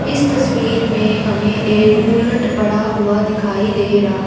इस तस्वीर में हमें एक बुलेट पड़ा हुआ दिखाई दे रहा--